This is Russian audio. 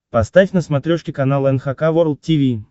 поставь на смотрешке канал эн эйч кей волд ти ви